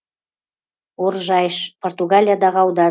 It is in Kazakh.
оржайш португалиядағы аудан